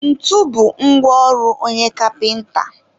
ntu bụ ngwa ọrụ onye kapịnta.